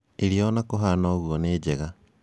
Irio ona kũhana ũguo nĩ njega